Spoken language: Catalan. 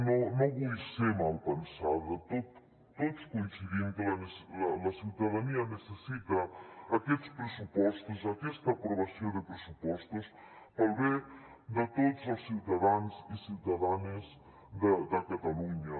no vull ser malpensada tots coincidim que la ciutadania necessita aquests pressupostos aquesta aprovació de pressupostos per al bé de tots els ciutadans i ciutadanes de catalunya